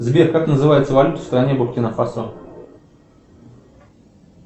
сбер как называется валюта в стране буркино фасо